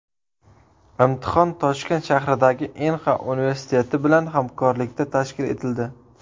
Imtihon Toshkent shahridagi Inha universiteti bilan hamkorlikda tashkil etildi.